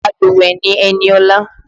Alúùwẹ́ ni Eniola